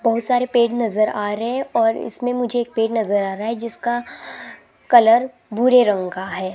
बहोत सारे पेड़ नजर आ रहे हैं और इसमें मुझे एक पेड़ नजर आ रहा है जिसका कलर भूरे रंग का है।